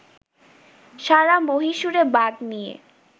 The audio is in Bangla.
সারা মহীশুরে বাঘ নিয়ে